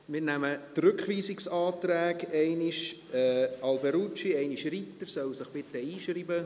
Wir behandeln die Rückweisungsanträge der Grossräte Alberucci und Ritter, bitte tragen Sie sich ein.